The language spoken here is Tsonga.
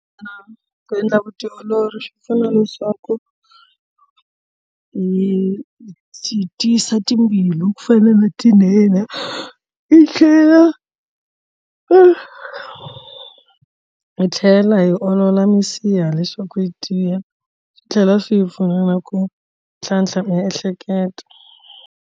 Ku endla vutiolori swi pfuna leswaku hi hi tiyisa timbilu ku fana na tinene i tlhela i hi tlhela hi olola minsiha leswaku yi dyiwa swi tlhela swi hi pfuna na ku tlhantlha miehleketo.